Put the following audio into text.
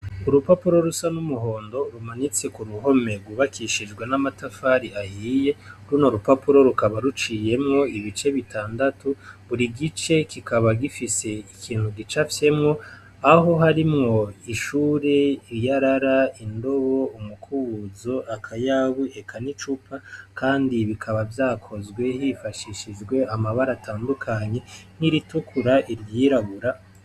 Urupapuro rusa n'umuhondo rumanitse kuruhome rwubakishijwe namatafari ahiye, runo rupapuro rukaba ruciyemwo bitandatu buri gice kikaba gifise ikintu gicavyemwo aho harimwo ishure, iyarara, indobo, umukubuzo, akayabu, eka n'icupa kandi bikaba vyakozwe hifashishijwe amabara atadukanye nk'iritukura, iry'irabura.